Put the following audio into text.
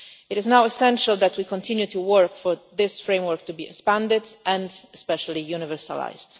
It is now essential that we continue to work for this framework to be expanded and, especially, to be universalised.